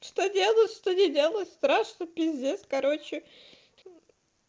что делаю что ни делаю страшно пиздец короче